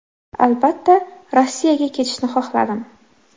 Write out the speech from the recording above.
Albatta, Rossiyaga ketishni xohladim.